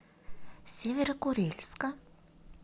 северо курильска